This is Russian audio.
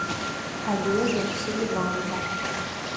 олежу селиванова